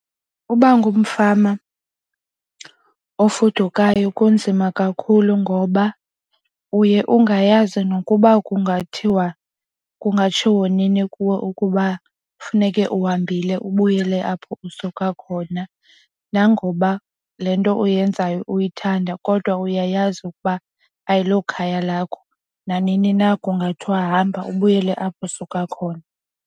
Uba ngumfama ofudukayo kunzima kakhulu ngoba uye ungayazi nokuba kungathiwa kungatshiwo nini kuwe ukuba funeke uhambile ubuyele apho usuka khona. Nangoba le nto uyenzayo uyithanda kodwa uyayazi ukuba ayilo khaya lakho nanini na kungathiwa ahamba ubuyele apho usuka khona.